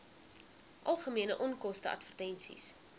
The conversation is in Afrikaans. algemene onkoste advertensies